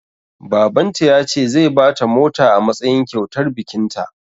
Baban ta ya ce zai bata mota a matsayin kyautar bikin ta